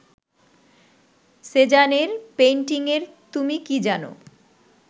সেজানের পেইন্টিংয়ের তুমি কি জানো